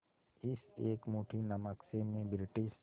इस एक मुट्ठी नमक से मैं ब्रिटिश